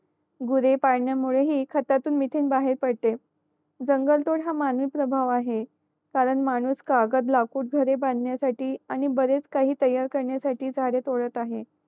गुरे पडण्या मुळे हि खतातून मिथेन बाहेर पडते जंगल तोड प्रभाव आहे कारण माणूस कागद लाकूड घरे बदण्या साठी आणि बरेच काही तयार करण्या साठी झाडे तोडत आहे